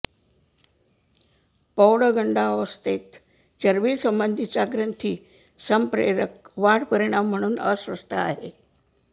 पौगंडावस्थेत चरबीसंबंधीचा ग्रंथी संप्रेरक वाढ परिणाम म्हणून अस्वस्थ आहे